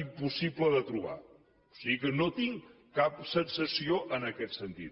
impossible de trobar o sigui que no tinc cap sensació en aquest sentit